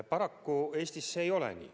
Paraku Eestis see ei ole nii.